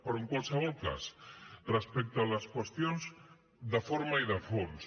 però en qualsevol cas respecte a les qüestions de forma i de fons